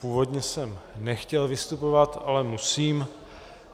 Původně jsem nechtěl vystupovat, ale musím.